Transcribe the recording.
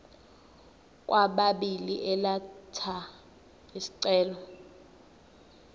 kwababili elatha isicelo